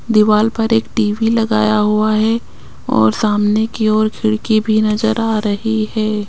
दीवाल पर एक टी_वी लगाया हुआ है और सामने की ओर खिड़की भी नजर आ रही है।